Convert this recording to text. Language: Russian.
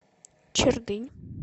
чердынь